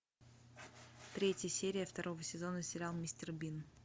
третья серия второго сезона сериал мистер бин